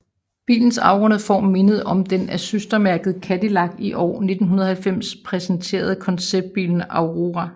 Bilens afrundede form mindede om den af søstermærket Cadillac i år 1990 præsenterede konceptbil Aurora